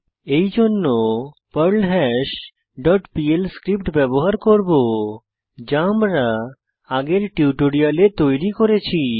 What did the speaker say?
এরজন্য Perl hash dot PL script ব্যবহার করব যা আমরা আগের টিউটোরিয়ালে তৈরী করেছি